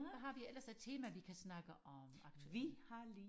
Hvad har vi ellers af tema vi kan snakke om aktuel